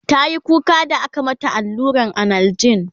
tayi kuka da aka mata alluran analjin